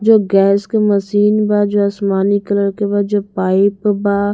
जो गैस के मशीन बा जो आसमानी कलर के बा जो पाइप बा--